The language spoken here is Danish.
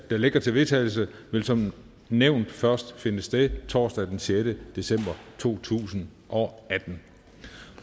ligger til vedtagelse vil som nævnt først finde sted torsdag den sjette december to tusind og atten